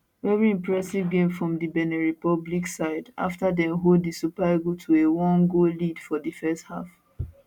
veri impressive game from di benin republic side afta dem hold di super eagles to a one goal lead for di first half